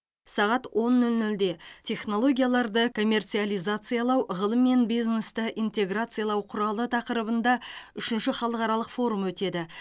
сағат он нөл нөлде технологияларды коммерциализациялау ғылым мен бизнесті интеграциялау құралы тақырыбында үшінші халықаралық форум өтеді